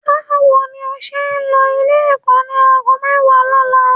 Báwo ni o máa ṣe lọ Ilé-ẹ̀kọ́ ní aago mẹ́wàá lọ́la?